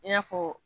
I n'a fɔ